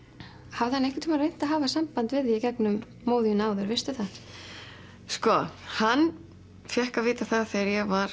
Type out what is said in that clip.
hafði hann einhvern tíman reynt að hafa samband við þig í gegnum móður þína áður veistu það sko hann fékk að vita það þegar ég var